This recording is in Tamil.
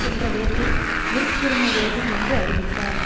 என்ற விதத்தில் விருப்புரிமை வேண்டும் என்று அறிவித்தார்